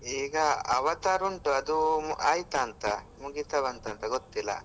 ಈಗ Avatar ಉಂಟು ಅದು ಆಯ್ತಾ ಅಂತ ಮುಗಿತ ಬಂತಾ ಅಂತ ಗೊತ್ತಿಲ್ಲ.